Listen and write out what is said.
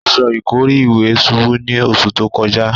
Aṣọ ìkọ́rí ìwẹ̀ ṣubú ní oṣù tó kọjá.